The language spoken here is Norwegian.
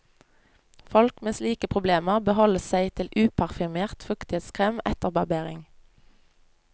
Folk med slike problemer bør holde seg til uparfymert fuktighetskrem etter barbering.